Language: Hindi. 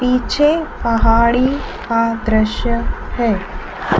पीछे पहाड़ी का दृश्य है।